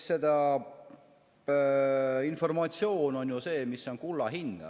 Informatsioon on ju see, mis on kulla hinnaga.